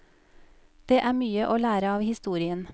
Det er mye å lære av historien.